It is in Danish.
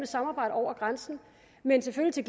samarbejde over grænsen men selvfølgelig